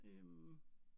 Øh